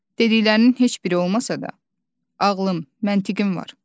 Dediklərinin heç biri olmasa da, ağlım, məntiqim var.